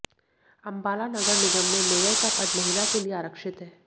अम्बाला नगर निगम में मेयर का पद महिला के लिए आरक्षित है